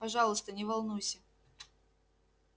пожалуйста не волнуйся